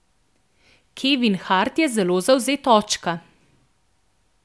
Kevin Hart je zelo zavzet očka.